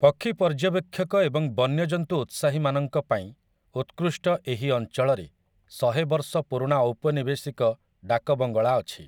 ପକ୍ଷୀ ପର୍ଯ୍ୟବେକ୍ଷକ ଏବଂ ବନ୍ୟଜନ୍ତୁ ଉତ୍ସାହୀମାନଙ୍କ ପାଇଁ ଉତ୍କୃଷ୍ଟ ଏହି ଅଞ୍ଚଳରେ ଶହେ ବର୍ଷ ପୁରୁଣା ଔପନିବେଶିକ ଡାକ ବଙ୍ଗଳା ଅଛି ।